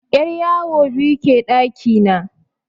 'Yaryawo biyu ke ɗaki na.